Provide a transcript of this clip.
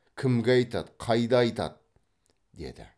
кімге айтады қайда айтады деді